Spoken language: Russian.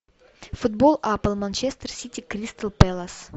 футбол апл манчестер сити кристал пэлас